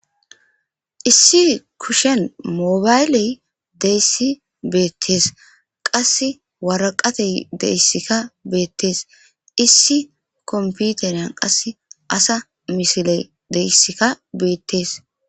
Issi kusken moybayle dizzysi bettes. Qasse waraqatay dizaysikka dettes. Issi konpiteriyan ASA si'iley dizaysika Bette's.